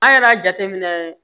An yɛrɛ y'a jateminɛ